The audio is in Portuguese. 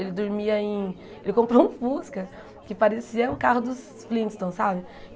Ele dormia em... Ele comprou um Fusca, que parecia o carro dos Flintstones, sabe?